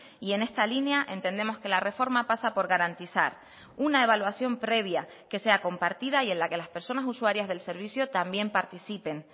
y en esta línea entendemos que la reforma pasa por garantizar una evaluación previa que sea compartida y en la que las personas usuarias del servicio también participen